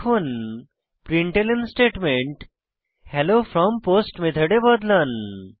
এখন println statement hello from post method এ বদলান